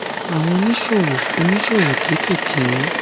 àwọn oníṣòwò oníṣòwò kéékèèké